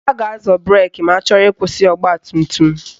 A ga-azọ breki ma achọrọ ịkwụsị ọgbatumtum